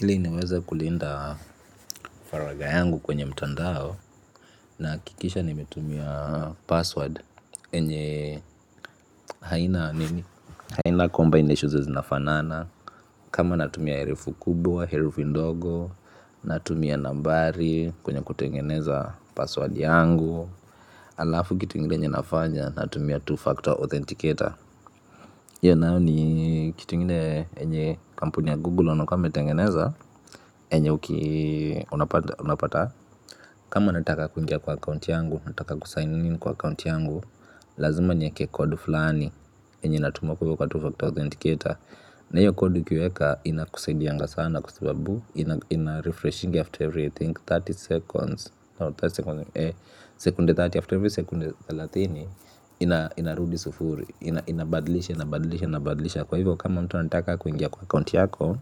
Ili niweza kulinda faraga yangu kwenye mtandao nakikisha nimetumia password enye haina nini haina combination zenye zinafanana kama natumia herufi kubwa herufi ndogo natumia nambari kwenye kutengeneza password yangu. Alafu kitu ingine enye nafanya natumia two-factor authenticator. Iya nayo ni kitu ingine enye kampuni ya Google wanakuanga wametengeneza. Enye unapata kama unataka kungia kwa account yangu unataka kusign in kwa account yangu. Lazima nieke code fulani. Enye inatumwa kwa 2Factor Authenticator na iyo code ukiweka inakusaidianga sana kwa sababu inarefreshingi after every i think thelathini seconds, thelathini seconds, sekunde thelathini after every sekunde thelathini. Inarudi sufuri inabadlisha inabadlisha inabadlisha kwa hivyo kama mtu anataka kuingia kwa account yako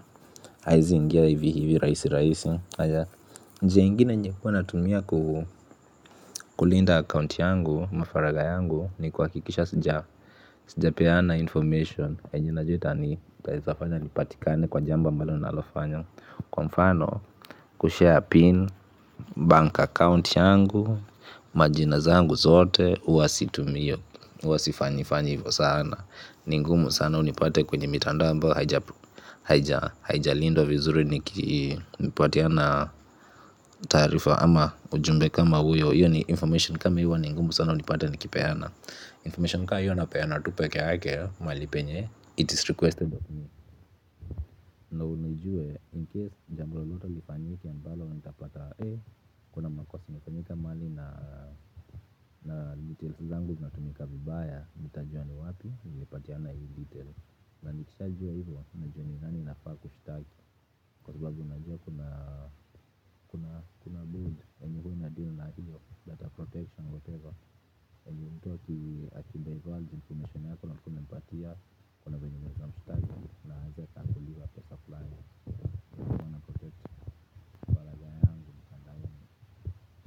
hawezi ingia hivi hivi raisi raisi njia ingine enye huwa natumia kulinda account yangu ama faraga yangu ni kuhakikisha sijapeana information enye najua itaezafanya nipatikane kwa jambo mbalo nalofanya kwa mfano kushare pin bank account yangu majina zangu zote ua situmii iyo ua sifanyi fanyi ivo sana ni ngumu sana unipate kwenye mitandao ambao haijalindwa vizuri nikipatiana taarifa ama ujumbe kama hiyo ni information kama hio ni ngumu sana unipate nikipeana information ka iyo napeana tu pekee yake mahali penye it is requested of me ndio nijue incase jambo lolote lifanyike ambalo nitapata kuna makosa imefanyika mahali na na details zangu zinatumika vibaya nitajua ni wapi nilipatiana hizi details na nikishajua ivo najua ni nani nafaa kushtaki kwa sababu najua kuna kuna kuna board enye hua inadeal na hio data protection whatever enye mtu akidiverge information yako na hukuwa umempatia kuna venye unaezamshtaki na aeze akadailiwa pesa fulani kwa hivyo na protect.